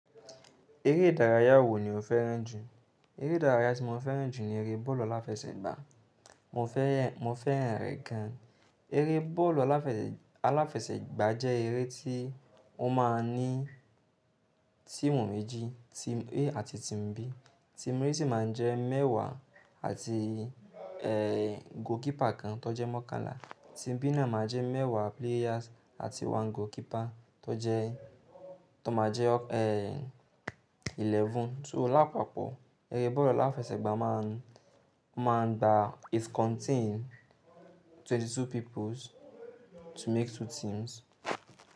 Eré ìdárayá wo ni o fẹ́ràn jù? Eré ìdárayá tí mo fẹ́ràn jù ni eré bọ́ọ̀lù aláfẹsẹ̀gbá. Mo fẹ́, mo fẹ́ràn rẹ̀ gan. Eré bọ́ọ̀lù aláfẹsẹ̀, aláfẹsẹ̀gbá jẹ́ eré tí ó máa ń ní team méjì, team a àti team B. Team a sì máa ń jẹ́ mẹ́wàá àti, ẹ, goalkeeper kan tó jẹ́ mọ́kànlá. Team B náà máa jẹ́ mẹ́wàá players àti one goalkeeper tó jẹ́, tó máa jẹ́, eleven. So lápapọ̀, eré bọ́ọ̀lù aláfẹsẹ̀gbá máa ń, máa ń gba it contain twenty two people to make two teams.